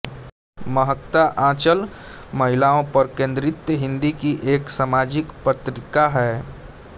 महकता आंचल महिलाओं पर केन्द्रित हिन्दी की एक सामाजिक पत्रिका है